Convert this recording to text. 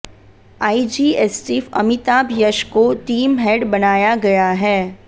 IG STF Amitabh Yash को team head बनाया गया है